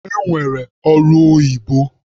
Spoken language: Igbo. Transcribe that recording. E nwere ọrụ oyibo.